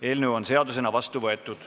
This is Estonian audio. Eelnõu on seadusena vastu võetud.